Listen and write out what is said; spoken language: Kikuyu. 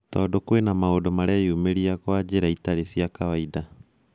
Tondũ kwĩna maũndũ mareyumĩria gwa njĩra citarĩ cia kawaida.